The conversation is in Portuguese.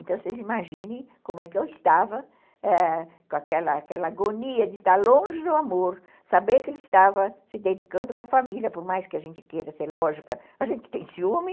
Então, vocês imaginem, como é que eu estava com aquela agonia de estar longe do amor, saber que ele estava se dedicando com a família, por mais que a gente queira ser lógica, a gente tem ciúme.